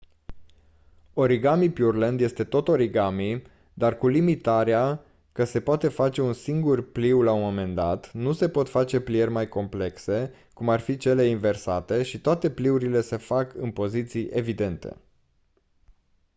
origami pureland este tot origami dar cu limitarea că se poate face un singur pliu la un moment dat nu se pot face plieri mai complexe cum ar fi cele inversate și toate pliurile se fac în poziții evidente